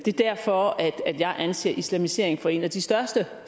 derfor at jeg anser islamisering for en af de største